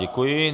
Děkuji.